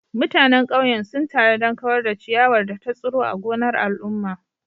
Mutanen ƙauyen sun taru don kawar da ciyawar da ta tsiro a gonar al'umma.